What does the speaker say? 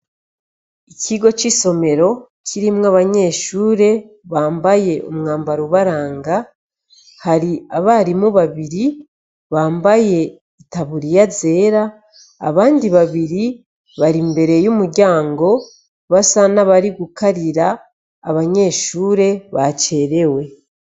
Ikigo c'isomero kirimwo abanyeshure bambaye umwambaro ubaranga; hari abarimu babiri bambaye itaburiya zera abandi babiri bar'imbere y'umuryango basa naho nabari gukarira abanyeshuri bacerewe.